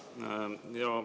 Aitäh!